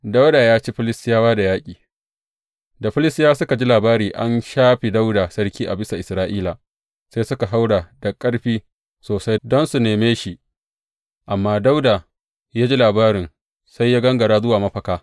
Dawuda ya ci Filistiyawa da yaƙi Da Filistiyawa suka ji labari an shafe Dawuda sarki a bisa Isra’ila, sai suka haura da ƙarfi sosai don su nema shi, amma Dawuda ya ji labarin sai ya gangara zuwa mafaka.